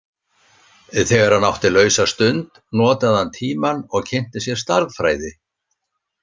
Þegar hann átti lausa stund notaði hann tímann og kynnti sér stærðfræði.